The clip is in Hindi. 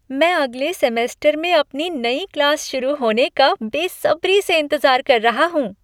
मैं अगले सेमेस्टर में अपनी नई क्लास शुरू होने का बेसब्री से इंतज़ार कर रहा हूँ!